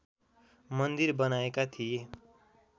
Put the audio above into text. मन्दिर बनाएका थिए